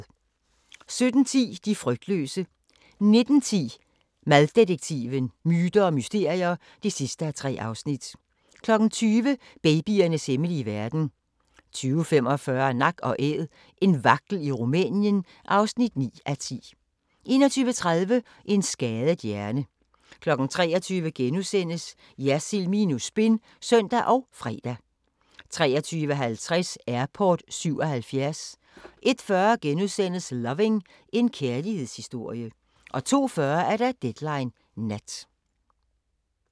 17:10: De frygtløse 19:10: Maddetektiven: Myter og mysterier (3:3) 20:00: Babyernes hemmelige verden 20:45: Nak & Æd – en vagtel i Rumænien (9:10) 21:30: En skadet hjerne 23:00: Jersild minus spin *(søn og fre) 23:50: Airport 77 01:40: Loving – en kærlighedshistorie * 02:40: Deadline Nat